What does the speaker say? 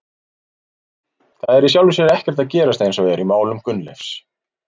Það er í sjálfu sér ekkert að gerast eins og er í málum Gunnleifs.